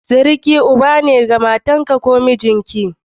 Suruki Uba ne ga matarka ko mijinki.